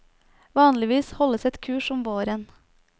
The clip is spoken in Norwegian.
Vanligvis holdes et kurs om våren.